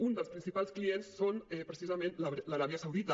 un dels principals clients és precisament l’aràbia saudita